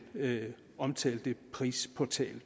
omtalte prisportal